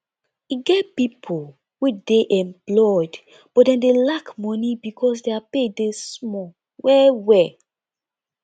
e get pipo wey dey employed but dem dey lack money because their pay dey small well welll